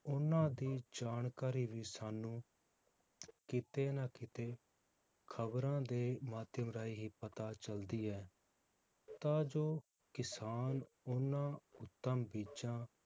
ਉਹਨਾਂ ਦੀ ਜਾਣਕਾਰੀ ਵੀ ਸਾਨੂੰ ਕਿਤੇ ਨਾ ਕਿਤੇ ਖਬਰਾਂ ਦੇ ਮਾਧਿਅਮ ਰਾਹੀਂ ਹੀ ਪਤਾ ਚਲਦੀ ਹੈ ਤਾਂ ਜੋ ਕਿਸਾਨ ਉਹਨਾਂ ਉੱਤਮ ਬੀਜਾਂ